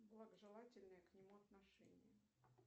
благожелательное к нему отношение